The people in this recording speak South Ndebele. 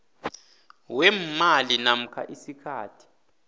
weemali namkha isikhathi